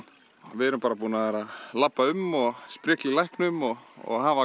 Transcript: við erum búin að labba um og sprikla í læknum og og hafa